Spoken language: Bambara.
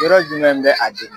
yɔrɔ jumɛn bɛ a degun?